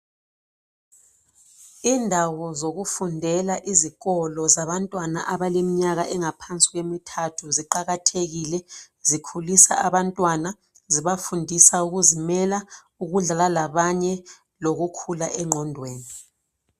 Indawo zokufundela izikolo zabantwana abaleminyaka engaphansi kwemithathu ziqakathekile zikhulisa abantwana zibafundisa ukuzimela ukudlala lalabanye lokukhula engqondweni.